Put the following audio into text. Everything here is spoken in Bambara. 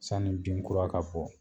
Sani bin kura ka bɔ